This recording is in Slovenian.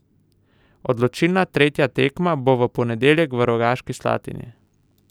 Odločilna tretja tekma bo v ponedeljek v Rogaški Slatini.